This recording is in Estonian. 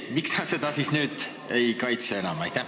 Miks sa seda siis nüüd enam ei kaitse?